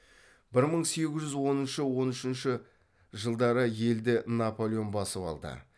бір мың сегіз жүз оныншы он үшінші жылдары елді наполеон басып алды